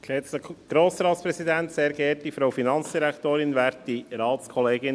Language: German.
Kommissionspräsident der FiKo.